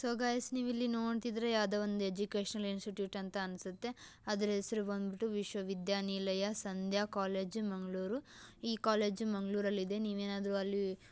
so guys ನೀವಿಲ್ಲಿ ನೋಡ್ತಿದ್ದೀರಾ ಯಾವುದೊ ಒಂದು ಎಜುಕೇಶನ್ ಇನ್ಸ್ಟಿಟ್ಯೂಷನ್ ಅಂತ ಅನ್ಸುತ್ತೆ ಅದ್ರ ಹೆಸರು ಬಂದ್ಬಿಟ್ಟು ವಿಶ್ವವಿದ್ಯಾನಿಲಯ ಸಂಧ್ಯಾ ಕಾಲೇಜು ಮಂಗ್ಲೂರು ಈ ಕಾಲೇಜು ಮಂಗ್ಳುರಲ್ಲಿದೆ ನೀವೇನಾದ್ರು ಅಲ್ಲಿ--